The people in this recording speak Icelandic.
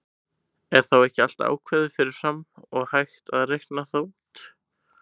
Er þá ekki allt ákveðið fyrir fram og hægt að reikna það út?